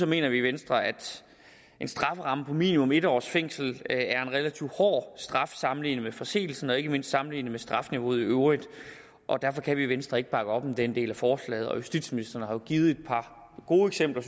mener vi i venstre at en strafferamme på minimum en års fængsel er en relativt hård straf sammenlignet med forseelsen og ikke mindst sammenlignet med strafniveauet i øvrigt og derfor kan vi i venstre ikke bakke op om den del af forslaget justitsministeren har jo givet et par gode eksempler